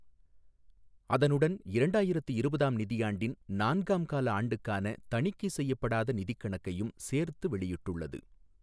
அதனுடன் இரண்டாயிரத்து இருபதாம் நிதியாண்டின் நான்காம் கால ஆண்டுக்கான தணிக்கைச் செய்யப்படாத நிதிக் கணக்கையும் சேர்த்து வெளியிட்டுள்ளது.